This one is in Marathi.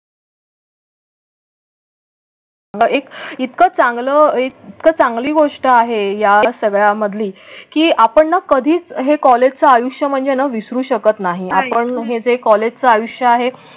एक इतकं चांगलं एक चांगली गोष्ट आहे. या सगळ्यांमधली की आपण कधीच हे कॉलेजचं आयुष्य म्हणजेना विसरू शकत नाही. आपण हे जे कॉलेजचं आयुष्य आहे.